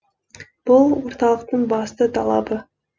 бұл орталықтың басты талабы